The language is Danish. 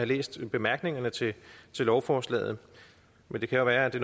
læst bemærkningerne til lovforslaget men det kan jo være at det